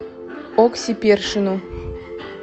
окси першину